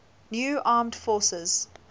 new armed forces